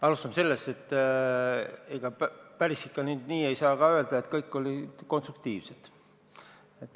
Alustame sellest, et ega ikka päris nii ei saa ka öelda, et kõik ettepanekud olid konstruktiivsed.